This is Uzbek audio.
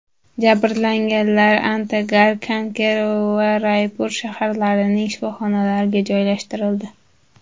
Jabrlanganlar Antagar, Kanker va Raypur shaharlarining shifoxonalariga joylashtirildi.